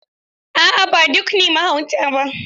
A'a ba duk ne mahauta ba.